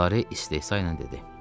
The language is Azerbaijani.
Lare istehza ilə dedi.